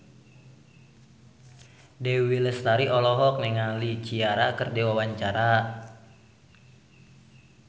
Dewi Lestari olohok ningali Ciara keur diwawancara